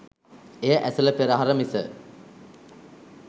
එය ඇසළ පෙරහර මිස